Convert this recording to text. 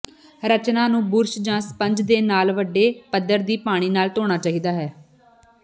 ਰਚਨਾ ਨੂੰ ਬੁਰਸ਼ ਜਾਂ ਸਪੰਜ ਦੇ ਨਾਲ ਵੱਡੇ ਪੱਧਰ ਦੀ ਪਾਣੀ ਨਾਲ ਧੋਣਾ ਚਾਹੀਦਾ ਹੈ